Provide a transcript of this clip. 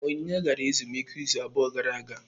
Onyinye gara ezumike izu abụọ gara aga.